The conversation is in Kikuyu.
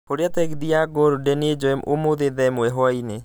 horĩra tegithĨ ya golden ĩnjoye ũmũthĩ thaa ĩmwe hwaĩinĩ